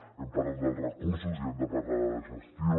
hem parlat dels recursos i hem de parlar de gestió